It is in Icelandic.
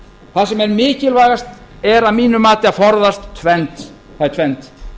það sem er mikilvægast er að mínu mati að forðast tvennt